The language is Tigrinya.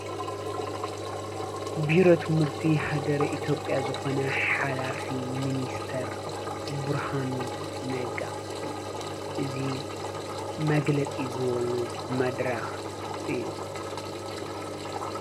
ቢሮት ምህርቲ ኣገር ኢቲጴያ ዘኾነ ሓላፊ ምንስተር ቡርሃኑ ነጋ እዙ መግለጺ ዝወሉ መድራኽ እዩ